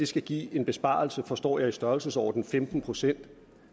skal give en besparelse på forstår jeg i størrelsesordenen femten procent